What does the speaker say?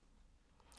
TV 2